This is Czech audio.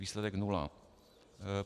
Výsledek - nula.